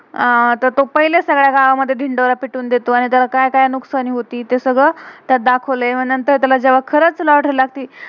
अह तर तो पहिलेच सगले गावा, मधे धिन्डोरा पिठुं देतो. आणि जर काय काय नुकसानी होती, ते सगळ त्यात दाखवलय. आणि नंतर जेव्हा त्याला खरच लोटरी lottery लागती.